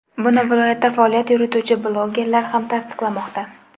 Buni viloyatda faoliyat yurituvchi blogerlar ham tasdiqlamoqda.